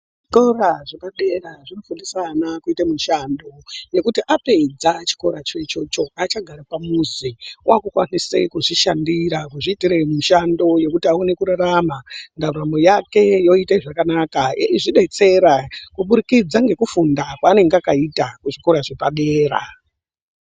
Zvikora zvepadera zvinofundisa ana kuite mushando yekuti apedza chikoracho ichocho haachagari pamuzi. Waakukwanise kuzvishandira, kuzviitire mushando yokuti aone kurarama. Ndaramo yake yoite zvakanaka. Eizvidetsera kuburikidza ngekufunda kwaanenge akaita kuchikora chepadera.